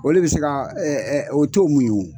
O le be se ka o t'o muɲu.